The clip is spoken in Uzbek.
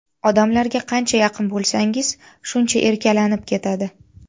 Odamlarga qancha yaqin bo‘lsangiz, shuncha erkalanib ketadi.